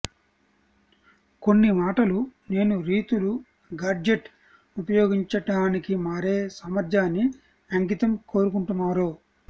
కొన్ని మాటలు నేను రీతులు గాడ్జెట్ ఉపయోగించడానికి మారే సామర్థ్యాన్ని అంకితం కోరుకుంటున్నారో